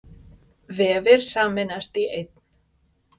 Vefir sameinast í einn